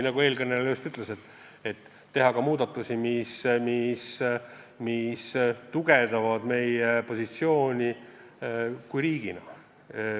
Nagu eelkõneleja just ütles, me tahame teha muudatusi, mis tugevdavad meie positsiooni riigina.